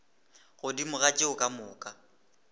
godimo ga tšeo ka moka